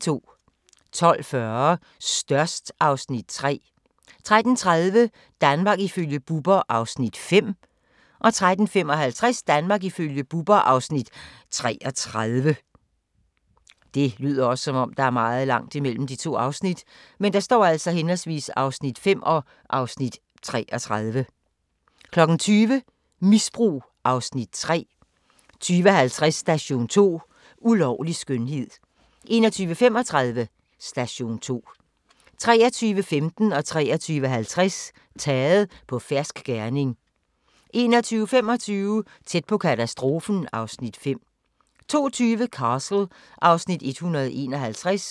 12:40: Størst (Afs. 3) 13:30: Danmark ifølge Bubber (Afs. 5) 13:55: Danmark ifølge Bubber (Afs. 33) 20:00: Misbrug (Afs. 3) 20:50: Station 2: Ulovlig skønhed 21:35: Station 2 23:15: Taget på fersk gerning 23:50: Taget på fersk gerning 01:25: Tæt på katastrofen (Afs. 5) 02:20: Castle (Afs. 151)